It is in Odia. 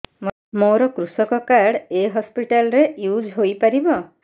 ମୋର କୃଷକ କାର୍ଡ ଏ ହସପିଟାଲ ରେ ୟୁଜ଼ ହୋଇପାରିବ